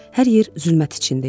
Hər yer zülmət içində idi.